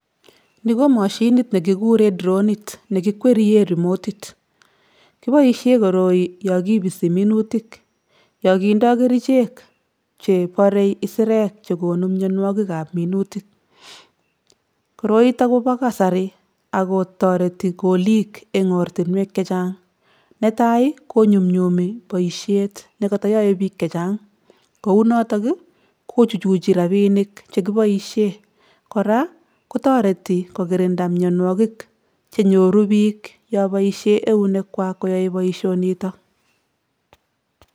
Ni ko mashinit ne kikure dronit nekikwerie rimotit, kiboisie koroi yo kipisi minutik, yo kindoi kerichek chebore isirek che konu mionwogikab minutik. Koroitok kobo kasari ak kotoreti koliik eng ortinwek chechang, netai ii konyumnyumi boisiet ne koto yoe piik che chang, kou notok ii kochuchuchi rabiinik che kiboisie, kora kotoreti kokirinda mionwogik che nyoru piik yoboisie eunekwak koyoe boisionitok.